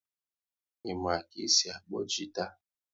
Ị ma ka e si akpọ gita?